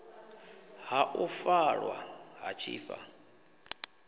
ha u faṱwa ha tshifha